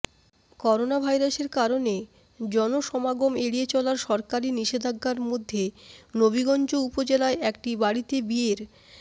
করোনাভাইরাসের কারণে জনসমাগম এড়িয়ে চলার সরকারি নিষেধাজ্ঞার মধ্যে নবীগঞ্জ উপজেলায় একটি বাড়িতে বিয়ের